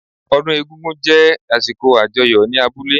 Ọdún egún-gún jé àsìkò àjọyọ̀ ní abúlé